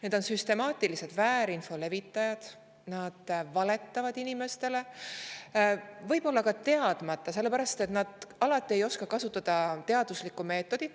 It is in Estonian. Need on süstemaatilised väärinfo levitajad, kes valetavad inimestele, võib-olla ka teadmatult, sellepärast et nad ei oska alati kasutada teaduslikku meetodit.